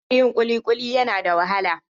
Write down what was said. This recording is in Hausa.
Hanyar yin kulikuli yana da wahala.